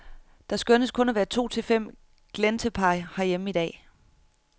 Der skønnes kun at være to til fem glentepar herhjemme i dag.